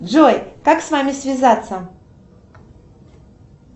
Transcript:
джой как с вами связаться